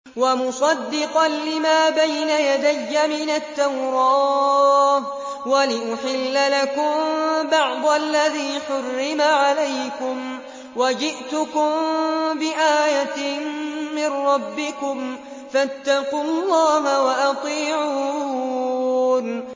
وَمُصَدِّقًا لِّمَا بَيْنَ يَدَيَّ مِنَ التَّوْرَاةِ وَلِأُحِلَّ لَكُم بَعْضَ الَّذِي حُرِّمَ عَلَيْكُمْ ۚ وَجِئْتُكُم بِآيَةٍ مِّن رَّبِّكُمْ فَاتَّقُوا اللَّهَ وَأَطِيعُونِ